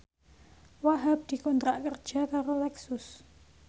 Wahhab dikontrak kerja karo Lexus